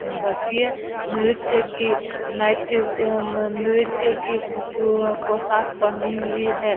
बच्चियाँ नृत्य की नायेत अ मन नृत्य की प प अ पोशाक पहनी हुई है।